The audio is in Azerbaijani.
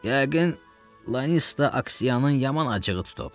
Yəqin Lanista Aksiyanın yaman acığı tutub.